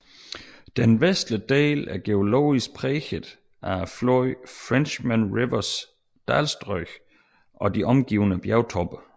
Den vestlige del er geologisk præget af floden Frenchman Rivers dalstrøg og de omgivende bjergtoppe